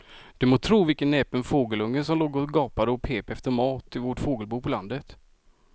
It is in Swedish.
Du må tro vilken näpen fågelunge som låg och gapade och pep efter mat i vårt fågelbo på landet.